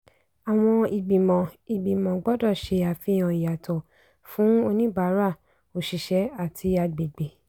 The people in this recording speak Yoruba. àwọn ìgbìmọ̀ ìgbìmọ̀ gbọ́dọ̀ ṣé àfihàn ìyàtọ̀ fún oníbàárà òṣìṣẹ́ àti àgbègbè.